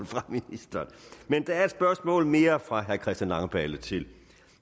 fra ministeren men der er et spørgsmål mere fra herre christian langballe til